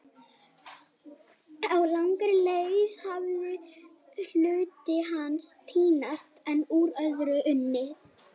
Á langri leið hafði hluti hans týnst en úr öðru var unnið.